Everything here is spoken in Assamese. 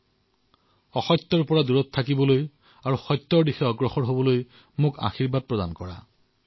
মোক অসত্যৰ পৰা দূৰ আৰু সত্য তথা জ্ঞানৰ আশীৰ্বাদ প্ৰদান কৰক